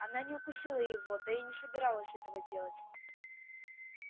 она не укусила его да и не собиралась этого делать